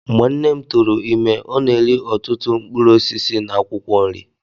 Mgbe nne m tụụrụ ime, ọ na-eri ọtụtụ mkpụrụ osisi na akwụkwọ nri.